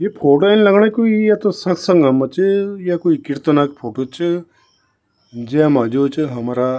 यी फोटो इन लगनी कुई या त सतसंगा म च या कोई कीर्तन क फोटो च जैमा जो च हमरा --